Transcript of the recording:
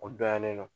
O dɔnyannen non